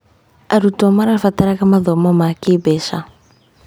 Arutwo marabataraga mathomo ma kĩĩmbeca.